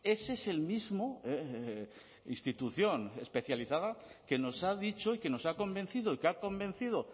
ese es el mismo institución especializada que nos ha dicho y que nos ha convencido y que ha convencido